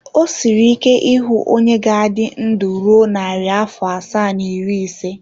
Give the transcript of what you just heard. O siri ike ịhụ onye ga-adị ndụ ruo narị afọ asaa na iri ise.